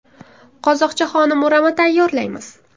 Qozoqcha xonim o‘rama tayyorlaymiz.